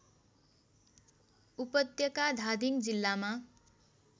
उपत्यका धादिङ जिल्लामा